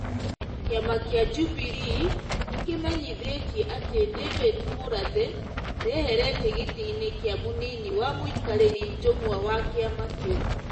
Kĩama kĩa Jubilee nĩ kĩmenyithĩĩtie atĩ David Murathe ndeherete gĩtĩinĩ kĩa mũnini wa mũikarĩri njũng'wa wa kĩama kĩu.